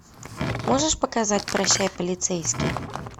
можешь показать прощай полицейский